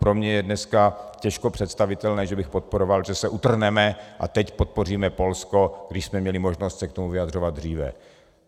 Pro mě je dneska těžko představitelné, že bych podporoval, že se utrhneme a teď podpoříme Polsko, když jsme měli možnost se k tomu vyjadřovat dříve.